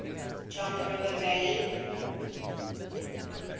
john river valley